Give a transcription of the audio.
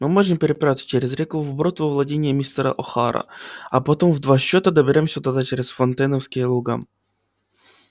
мы можем переправиться через реку вброд во владениях мистера охара а потом в два счёта доберёмся туда через фонтейновские луга